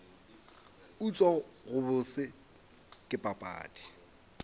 utswa go bose ke papadi